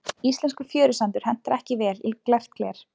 íslenskur fjörusandur hentar ekki vel í glært gler